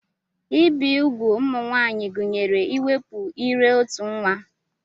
Ibi úgwù ụmụ nwaanyị gụnyere iwepụ ire-otu nwa.